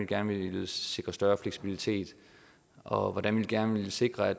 gerne ville sikre større fleksibilitet og hvordan vi gerne ville sikre at